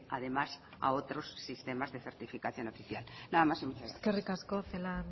además a otros sistemas de certificación oficial nada más y muchas gracias eskerrik asko celaá